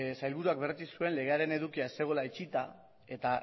sailburuak berretsi zuen legearen edukia ez zegoela itxita eta